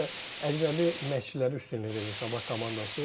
Nəysə əcnəbi məşqçilərə üstünlük verir Sabah komandası.